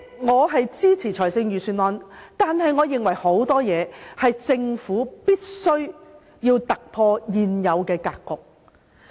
我支持預算案，但我認為有很多事情政府必須突破現有的格局。